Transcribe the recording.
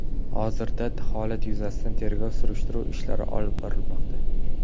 Hozirda holat yuzasidan tergov va surishtiruv ishlari olib borilmoqda.